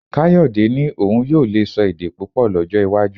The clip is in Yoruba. Káyọ̀dẹ́ ní òun yóò lè sọ èdè púpọ̀ lọ́jọ́ iwájú